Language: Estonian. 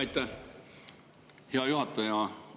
Aitäh, hea juhataja!